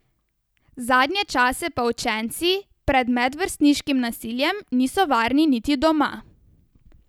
Zadnje čase pa učenci pred medvrstniškim nasiljem niso varni niti doma.